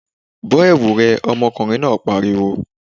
Bọ́ ẹ̀wu rẹ! ọmọkùnrin náà pariwo.